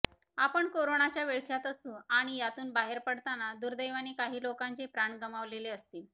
आपण कोरोनाच्या विळख्यात असू आणि यातून बाहेर पडताना दुर्दैवाने काही लोकांचे प्राण गमावलेले असतील